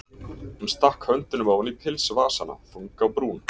Hún stakk höndunum ofan í pilsvasana, þung á brún.